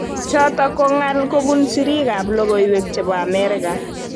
Chotok ko ngal kobun sirik ab lokoiwek chebo Amerika.